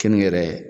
Keninge yɛrɛ